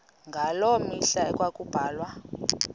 ngaloo mihla ekwakubulawa